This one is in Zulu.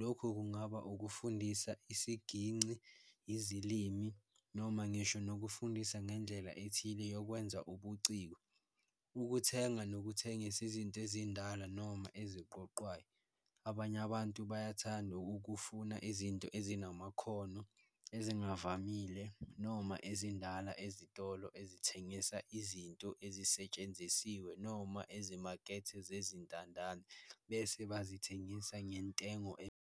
lokho kungaba ukufundisa isiginci, izilimi noma ngisho nokufundisa ngendlela ethile yokwenza ubuciko, ukuthenga nokuthengisa izinto ezindala noma eziqoqwayo. Abanye abantu bayathanda ukukufuna izinto ezinamakhono, ezingavamile noma ezindala ezitolo ezithengisa izinto ezisetshenzisiwe noma ezimakethe zezintandane bese bazithengisa ngentengo .